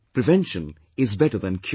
Prevention is better than cure